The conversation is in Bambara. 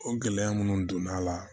O gɛlɛya minnu donn'a la